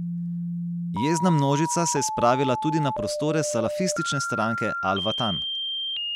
Jezna množica se je spravila tudi na prostore salafistične stranke al Vatan.